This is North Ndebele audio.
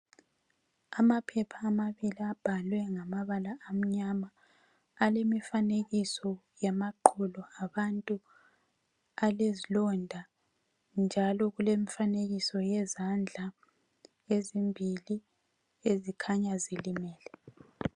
Amaphepha amabili abhalwe ngamabala amnyama. Alemifanekiso yamaqolo abantu. Alezilonda njalo kulemifanekiso yezandla ezimbili ezikhanya zilimele.